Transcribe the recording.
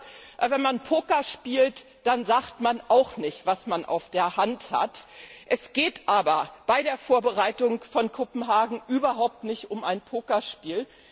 Er hat gesagt, wenn man Poker spielt, dann sagt man auch nicht, was man auf der Hand hat. Es geht aber bei der Vorbereitung von Kopenhagen überhaupt nicht um ein Pokerspiel.